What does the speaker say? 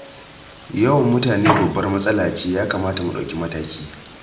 Yawan mutane babbar matsala ce, ya kamata mu ɗauki mataki.